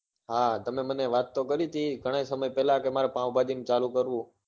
હા તમે મને વાત તો કરી હતી ઘણાં સમય પેલા કે મારે પાવભાજી નું ચાલુ કરવું છે